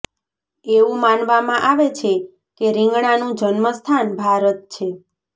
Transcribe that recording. એવું માનવામાં આવે છે કે રીંગણાનું જન્મસ્થાન ભારત છે